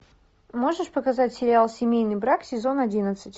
можешь показать сериал семейный брак сезон одиннадцать